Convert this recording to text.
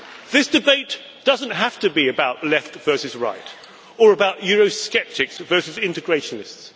This debate does not have to be about left versus right or about Eurosceptics versus integrationists.